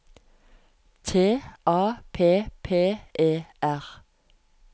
T A P P E R